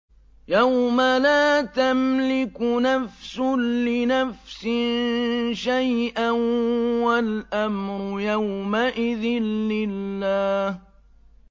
يَوْمَ لَا تَمْلِكُ نَفْسٌ لِّنَفْسٍ شَيْئًا ۖ وَالْأَمْرُ يَوْمَئِذٍ لِّلَّهِ